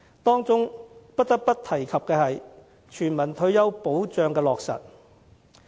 當中不得不提及的，是全民退休保障的落實。